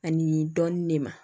Ani dɔɔnin de ma